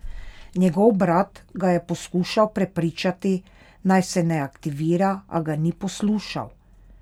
Njegov brat ga je poskušal prepričati, naj je ne aktivira, a ga ni poslušal.